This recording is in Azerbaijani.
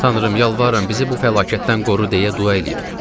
Tanrım, yalvarıram bizi bu fəlakətdən qoru deyə dua eləyirdim.